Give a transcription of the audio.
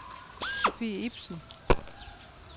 Sofie Ipsen